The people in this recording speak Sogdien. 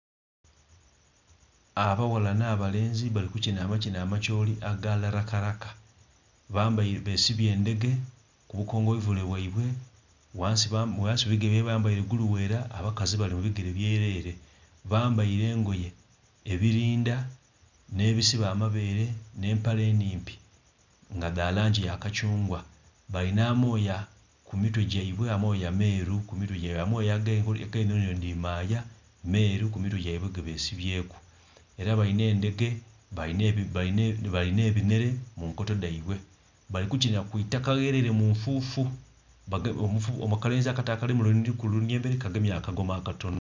Abaghala n'abalenzi bali kukina amakina am'acholi aga larakaraka. Bambaile, besibye endhege ku bukongoivule bwaibwe, ghansi ghe bigere byaibwe bambaile guluwera, abakazi bali mu bigere byelele. Bambaile engoye, ebilinda, n'ebisiba amabeere, nh'empale enhimpi nga dha langi ya kakyungwa. Balina amooya ku mitwe gyaibwe, amooya meeru ku mitwe gyaibwe. Amooya ag'enhonhi enho dhino dhi maaya, meeru ku mitwe gyaibwe gebesibyeeku. Era balina endhege, balina ebinhele mu nkoto dhaibwe. Bali kukinha ku itaka ghelele mu nfuufu. Akalenzi akato akali ku lunhilili emberi kagemye akagoma akatono.